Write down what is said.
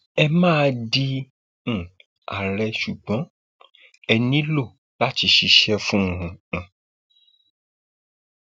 ẹ máa di um àárẹ ṣùgbọn ṣùgbọn ẹ nílò láti ṣiṣẹ fún um un